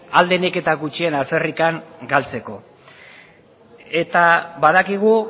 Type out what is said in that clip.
ahal denik eta gutxien alferrik galtzeko eta badakigu